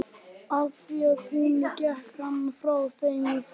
Að því búnu gekk hann frá þeim í þvöguna.